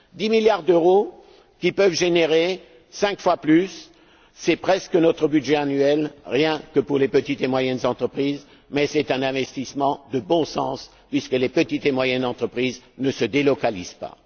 Dix milliards d'euros qui peuvent générer cinq fois plus, c'est presque notre budget annuel, rien que pour les petites et moyennes entreprises, mais c'est un investissement de bon sens puisque les petites et moyennes entreprises ne se délocalisent pas.